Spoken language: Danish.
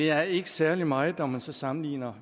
er ikke særlig meget når man så sammenligner